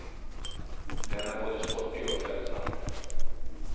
Den är både sportig och följsam.